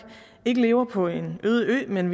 ikke lever på en øde ø men